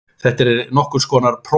Þetta er nokkurs konar prófmál